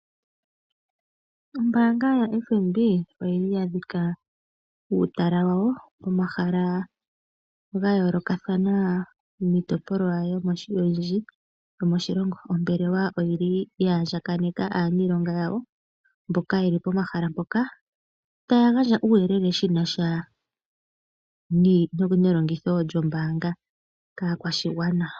Ombaanga yaFNB oya dhika uutala wawo pomahala ga yoolokathana miitopolwa oyindji yomoshilongo. Ombelewa oya andjakaneka aaniilonga yawo mboka ye li pomahala mpoka taya gandja uuyelele shi na sha nelongitho lyombaanga kaakwashigwana.